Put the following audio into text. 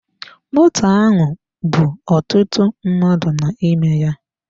Moto ahụ bú ọtụtụ mmadụ n'ime ya.